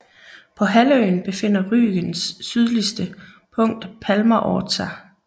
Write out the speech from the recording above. På halvøen befinder Rügens syligste punkt Palmer Ort sig